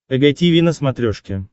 эг тиви на смотрешке